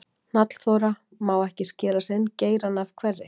Hnallþóra: Má ekki skera sinn geirann af hverri?